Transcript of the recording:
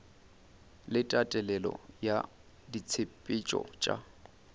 le tatelelo ya ditshepetšo tša